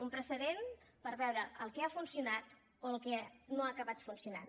un precedent per veure el que ha funcionat o el que no ha acabat funcionant